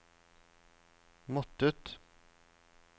måttet